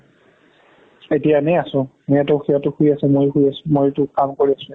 এতিয়া এনে আছো সিহতে শুই আছে মই শুই আছো মইটো কাম কৰি আছো ইয়াতে